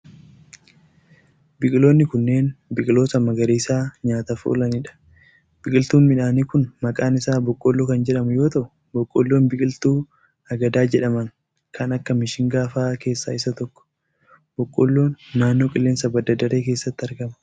Biqiloonni kunneen biqiloota magariisa nyaataf oolanii dha. Biqiltuun midhaanii kun maqaan isaa boqqoolloo kan jedhamu yoo ta'u, boqqoolloon biqiltuu agadaa jedhaman kan akka mishingaa faa keesssaa isa tokko. Boqqoolloon naannoo qilleensa badda daree keessatti marga.